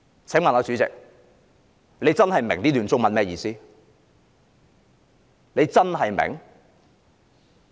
"請問主席是否真的明白這段中文的意思呢？